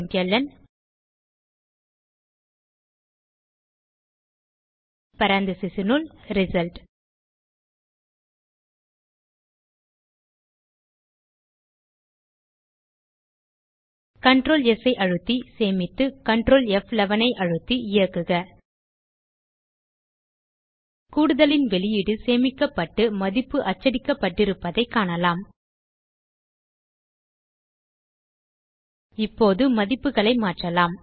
println parantesisனுள் result control S ஐ அழுத்தி சேமித்து கன்ட்ரோல் ப்11 ஐ அழுத்தி இயக்குக கூடுதலின் வெளியீடு சேமிக்கப்பட்டு மதிப்பு அச்சடிக்கப்பட்டிருப்பதைக் காணலாம் இப்போது மதிப்புகளை மாற்றலாம்